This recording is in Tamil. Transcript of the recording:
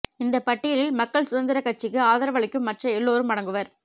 இந்தப் பட்டியலில் மக்கள் சுதந்திரக் கட்சிக்கு ஆதரவளிக்கும் மற்ற எல்லோரும் அடங்குவர்